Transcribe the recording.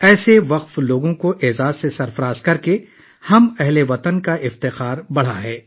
ایسے سرشار لوگوں کی عزت افزائی کر کے ہم وطنوں کا سر فخر سے بلند ہوا ہے